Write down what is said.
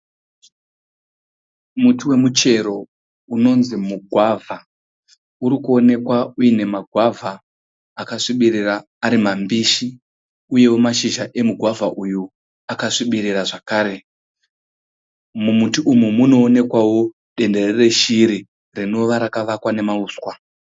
Muti wemuchero unonzi muGwavha. Uri kuonekwa uyine magwavha akasvibirira ari mambishi uyewo mashizha emugwavha uyu akasvibirira zvakare. Mumuti umu muno onekwawo dendere reshiri rinova rakavakwa nemauswa.